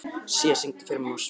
Sía, syngdu fyrir mig „Á Spáni“.